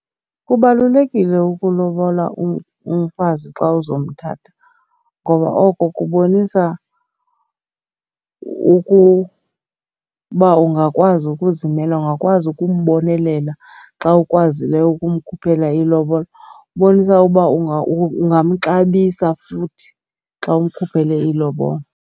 Kubalulekile ukulobola umfazi xa uzomthatha ngoba oko kubonisa ukuba ungakwazi ukuzimela, ungakwazi ukumbonelela xa ukwazileyo ukumkhuphela ilobola. Ubonisa uba ungamxabisa futhi xa umkhuphele ilobola.